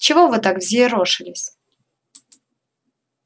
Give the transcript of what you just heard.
чего вы так взъерошились